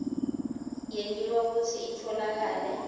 yentiwa kutsi itfolakale